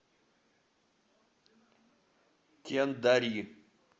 кендари